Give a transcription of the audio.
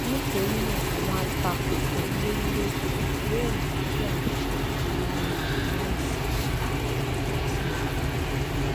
nítorí náà àwọn àtakò kan lórìléèèdè yìí yóò mú kí àwọn iṣé dúró láyè wọn láì sí ìdàsí ìjọba